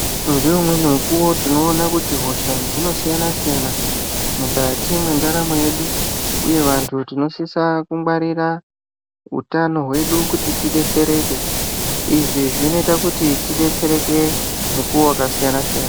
Ngeumweni mukuwo tinoona kuti hosha dzinosiyana-siyana, mukati mwendaramo yedu, uye vantu tinosisa kungwarira utano hwedu kuti tidetsereke. Izvi zvinoita kuti tidetsereke, mukuwo wakasiyana-siyana.